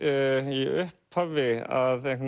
í upphafi að